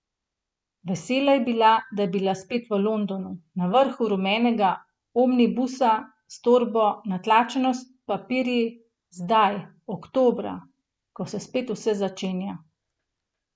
Vesela je bila, da je bila spet v Londonu, na vrhu rumenega omnibusa, s torbo, natlačeno s papirji, zdaj, oktobra, ko se spet vse začenja.